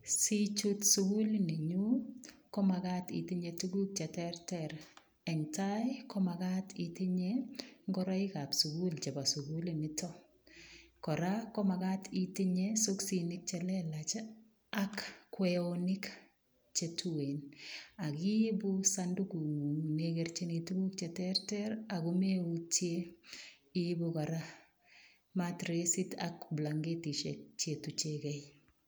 Sichuut suguliit ni nyuun ko magaat itinyei tuguuk che terter eng tai komagat itinyei ingoraik chebo suguliit nitoon kora ko magaat itinyei siksinik chelelaach ak kweyoniik che then akiibu sandukuut nguung nekerjini tuguuk che terter ago meutyeen iibuu kora matressing ak blakentisheek che tuchegeen kei.